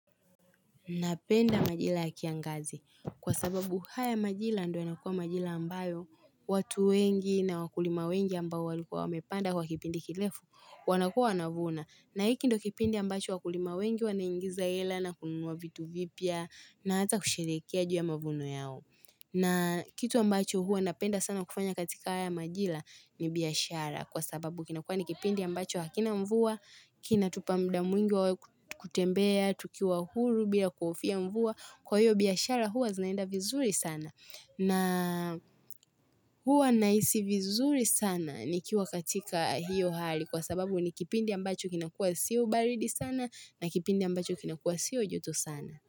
Napenda majira ya kiangazi kwa sababu haya majira ndo yanakua majira ambayo watu wengi na wakulima wengi ambao walikuwa wamepanda kwa kipindi kirefu wanakua wanavuna na hiki ndo kipindi ambacho wakulima wengi wanaingiza hela na kununua vitu vipya na hata kushirikia juu ya mavuno yao. Na kitu ambacho hua napenda sana kufanya katika haya majira ni biashara kwa sababu kinakua nikipindi ambacho hakina mvua, kinatupa muda mwingi kutembea, tukiwa huru bila kuhofia mvua. Kwa hiyo biashara huwa zinaenda vizuri sana. Na huwa nahisi vizuri sana nikiwa katika hiyo hali kwa sababu ni kipindi ambacho kinakuwa sio baridi sana na kipindi ambacho kinakua siu joto sana.